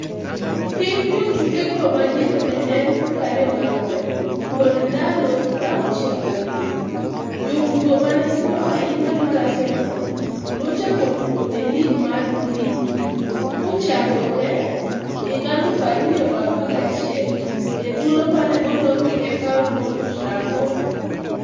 Hik jotuke go madiere ne en 24, kod ndalo 67, jotugo mane tindo ahinya mar Arsenal nochako tugo e lig mar premia kochakore 2011 e thuolo mane ologi e paw Old Trafford